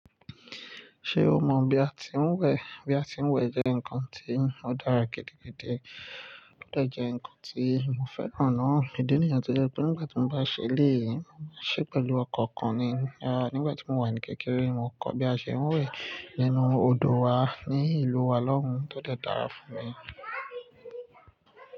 Ṣé o mọ̀ bí a ti ń wẹ̀? Bí a ti ń wẹ̀ jẹ́ nǹkan tí ó dára gidi gidi. Ó de jẹ́ ǹkan tí mo fẹ́ràn náa. Idi niyen tó jẹ́ pé nígbà tí mo bá ṣe eléyìí, mo ṣe pẹ̀lú ọkan okan ni. Rárá, nígbà tí mo wà ní kékeré, mo kọ́ bí a ṣe ń wẹ̀ nínú odò wa ní ìlú wa lọ́hùn tó de dára fún mi.